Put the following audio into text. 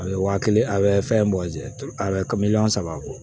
A bɛ wa kelen a bɛ fɛn bɔ a bɛ ka miliyɔn saba bɔ